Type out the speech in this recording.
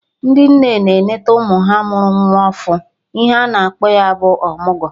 Ndị nne na-enete ụmụ ha mụrụ nwa ọfụ, ihe ana akpọ ya bụ ọmụgwọ